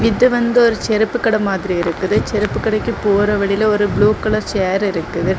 இது வந்து ஒரு செருப்பு கட மாதிரி இருக்குது செருப்பு கடைக்கு போற வழில ஒரு ப்ளூ கலர் சேர் இருக்கு.